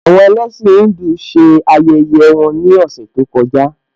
Àwọn ẹlẹ́sìn Híńdù ṣe ayẹyẹ wọn ní ọ̀sẹ̀ tó kọjá